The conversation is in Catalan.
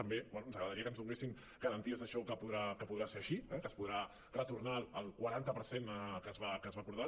també bé ens agradaria que ens donessin garanties d’això que podrà ser així eh que es podrà retornar el quaranta per cent que es va acordar